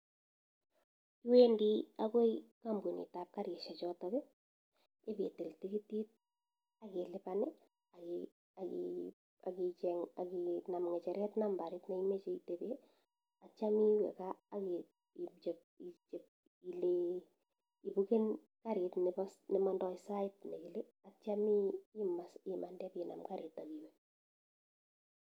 Iwendii akoii kampuniit ab karishiek chotok ipitil tikitiit akilipan akinam ngecheret nambarit nemechee itepee atya iwekaa akilee ibuken karit nee mandaii saiit nee kilee atya imande ipinam kariit akiwe